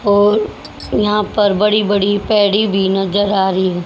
और यहां पर बड़ी बड़ी भी नजर आ रही है।